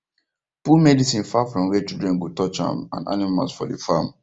put medicine far from where children go touch am and animals for the farm